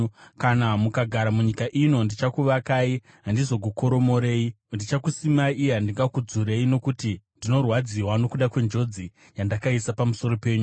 ‘Kana mukagara munyika ino, ndichakuvakai handizokukoromorei; ndichakusimai uye handingakudzurei, nokuti ndinorwadziwa nokuda kwenjodzi yandakaisa pamusoro penyu.